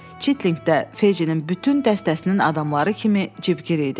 Çitlinqdə Fecinin bütün dəstəsinin adamları kimi cibgir idi.